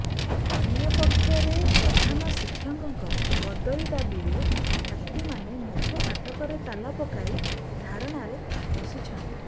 ଅନ୍ୟ ପକ୍ଷରେ ପ୍ରଧାନ ଶିକ୍ଷକଙ୍କ ବଦଳି ଦାବିରେ ଛାତ୍ରୀମାନେ ମୁଖ୍ୟ ଫାଟକରେ ତାଲା ପକାଇ ଧାରଣାରେ ବସିଛନ୍ତି